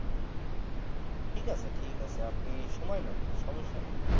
ঠিক আছে ঠিক আছে আপনি সময় নেন সমস্যা নেই